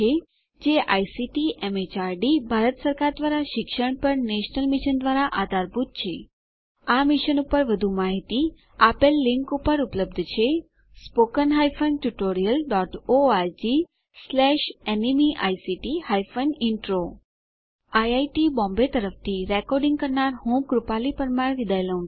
જે ICT MHRD Bharat સરકાર દ્વારા શિક્ષણ પર નેશનલ મિશન દ્વારા આધારભૂત છે આ મિશન પર વધુ માહીતી આપેલ લીંક પર ઉપલબ્ધ છે spoken hyphen tutorial dot org slash NMEICT hyphen intro iit Bombay તરફથી સ્પોકન ટ્યુટોરીયલ પ્રોજેક્ટ માટે ભાષાંતર કરનાર હું જ્યોતી સોલંકી વિદાય લઉં છું